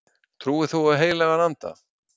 Trúir þú á heilagan anda?